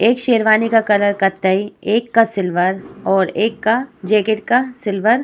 एक शेरवानी का कलर कत्थई और एक का सिल्वर और एक का जैकेट का सिल्वर --